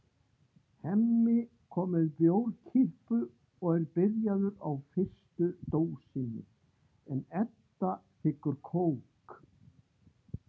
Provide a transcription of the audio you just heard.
Hemmi kom með bjórkippu og er byrjaður á fyrstu dósinni en Edda þiggur kók.